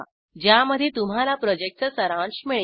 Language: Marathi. ज्यामध्ये तुम्हाला प्रॉजेक्टचा सारांश मिळेल